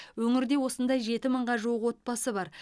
өңірде осындай жеті мыңға жуық отбасы бар